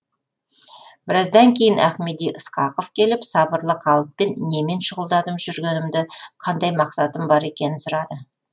біраздан кейін ахмеди ысқақов келіп сабырлы қалыппен немен шұғылданып жүргенімді қандай мақсатым бар екенін сұрады